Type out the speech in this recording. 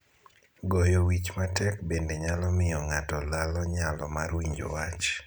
Goyo wich matek bende nyalo miyo ng'ato lalo nyalo mar winjo wach.